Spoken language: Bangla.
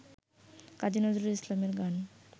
কাজী নজরুল ইসলামের গান